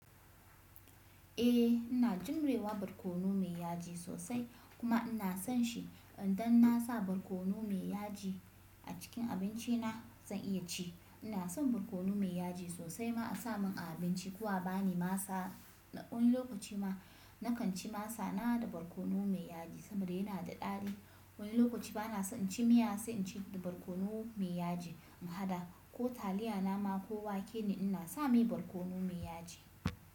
Eh ina jirewa barkono mai yaji sosai kuma ina son shi. Idan na sa barkono mai yaji a cikin abinci na, zan iya ci. Ina son barkono mai yaji sosai ma a sa mun a abinci ko a bani masa. Wani lokaci ma na kan ci masa na da barkono mai yaji saboda yana da daɗi. Wani lokaci bana so in ci miya sai in ci da barkono mai yaji in haɗa ko taliya nama ko wake ne ina sa mai barkono mai yaji.